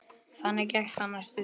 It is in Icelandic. Þannig gekk það næstu sumrin.